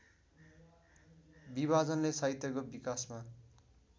विभाजनले साहित्यको विकासमा